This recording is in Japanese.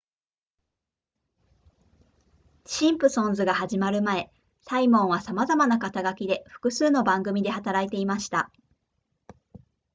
シンプソンズが始まる前サイモンはさまざまな肩書きで複数の番組で働いていました